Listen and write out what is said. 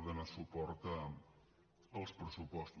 a donar suport als pressupostos